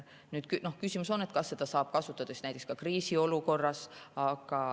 Nüüd, küsimus on, kas seda saab kasutada ka kriisiolukorras.